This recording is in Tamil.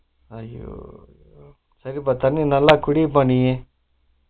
ஐயோ சரிபா தண்ணி நல்லா குடிப்பா நீ